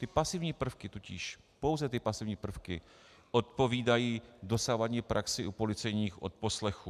Ty pasivní prvky totiž, pouze ty pasivní prvky, odpovídají dosavadní praxi u policejních odposlechů.